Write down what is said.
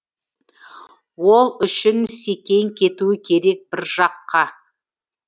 ол үшін секең кету керек бір жаққа